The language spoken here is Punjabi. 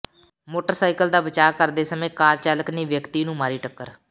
ਮੋਟਰਸਾਈਕਲ ਦਾ ਬਚਾਅ ਕਰਦੇ ਸਮੇਂ ਕਾਰ ਚਾਲਕ ਨੇ ਵਿਅਕਤੀ ਨੂੰ ਮਾਰੀ ਟੱਕਰ